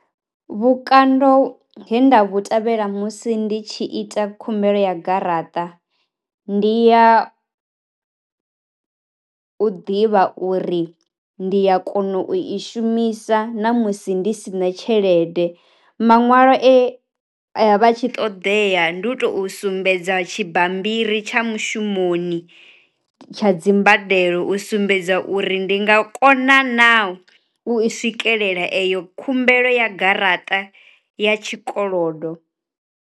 Vhukando he nda vhu tevhela musi ndi tshi ita khumbelo ya garaṱa, ndi ya u ḓivha uri ndi ya kona u i shumisa na musi ndi sina tshelede, maṅwalo e a ya vha tshi ṱoḓea ndi u tou sumbedza tshi bammbiri tsha mushumoni tsha dzi mbadelo u sumbedza uri ndi nga kona na u swikelela eyo khumbelo ya garaṱa ya tshi kolodo.